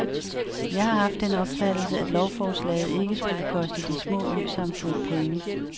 Jeg har haft den opfattelse, at lovforslaget ikke skulle koste de små øsamfund penge.